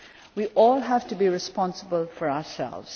so. We all have to be responsible for ourselves.